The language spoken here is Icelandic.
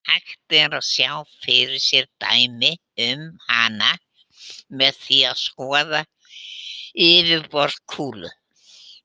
Hægt er að sjá fyrir sér dæmi um hana með því að skoða yfirborð kúlu.